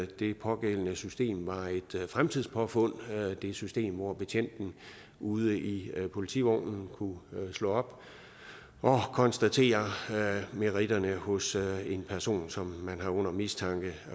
det pågældende system var et fremtidspåfund det system hvor betjenten ude i politivognen kunne slå op og konstatere meritterne hos en person som man har under mistanke